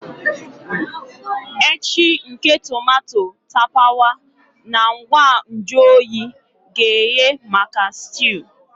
Echi nke tomato tapawa na ngwa nju oyi ga-eghe maka stew.